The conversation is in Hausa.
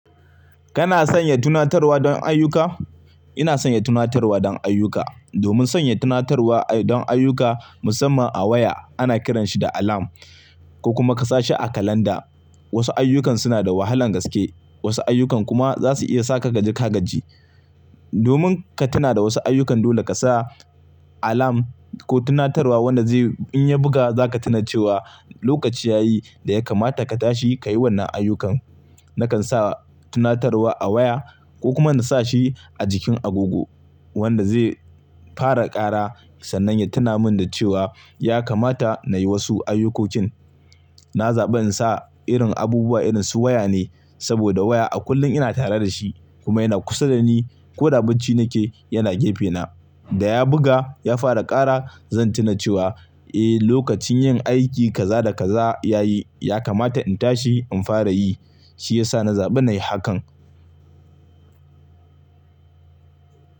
Kana sanya tunatarwa don ayyuka? Ina sanya tunatarwa don ayyuka. Domin sanya tunatarwa don ayyuka musamman a waya, ana kiranshi da alarm ko kuma ka sa shi a kalanda. Wasu ayyukan suna da wahalan gaske, wasu ayyukan kuma za su iya sa ka kaji ka gaji. Domin ka tuna da wasu ayyukan dole ka sa alarm ko tunatarwa wanda zai in ya buga za ka tuna cewa lokaci ya yi da ya kamata ka tashi ka yi wannan ayyukan. Nakan sa tunatarwa a waya ko kuma na sa shi a jikin agogo wanda zai fara kara sannan ya tuna min da cewa ya kamata na yi wasu ayyukokin. Na zaɓi in sa irin abubuwa irin su waya ne saboda waya a kullum ina tare da shi kuma yana kusa da ni. Ko da bacci nike yana gefena. Da ya buga ya fara kara zan tuna cewa eh, lokacin yin aiki kaza da kaza ya yi, ya kamata in tashi in fara yi. Shi yasa na zaɓi na yi hakan.